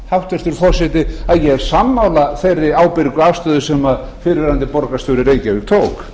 hæstvirtur forseti að ég er sammála þeirri ábyrgu afstöðu sem fyrrverandi borgarstjóri í reykjavík tók